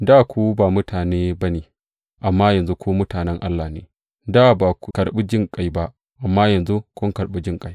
Dā ku ba mutane ba ne, amma yanzu ku mutanen Allah ne; Dā ba ku karɓi jinƙai ba, amma yanzu kun karɓi jinƙai.